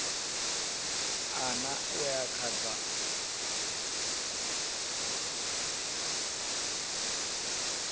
ṋ a uya kha dza